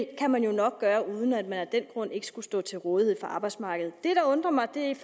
kan man jo nok gøre uden at man af den grund ikke skulle stå til rådighed for arbejdsmarkedet det der undrer mig er